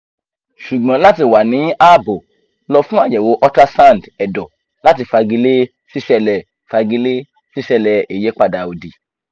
ṣùgbọ́n lati wà ní ààbò lo fun ayewo ultrasound ẹ̀dọ̀ lati fagile sisele fagile sisele iyipada odi